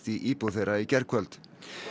í íbúð þeirra í gærkvöld